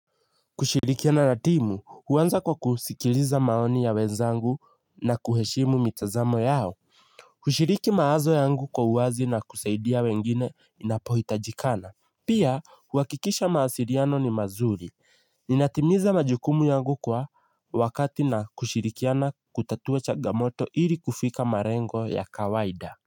Kushirikiana na timu, huanza kwa kusikiliza maoni ya wenzangu na kuheshimu mitazamo yao. Kushiriki mawazo yangu kwa uwazi na kusaidia wengine inapohitajikana. Pia, huhakikisha mawasiriano ni mazuri. Ninatimiza majukumu yangu kwa wakati na kushirikiana kutatua changamoto ili kufika marengo ya kawaida.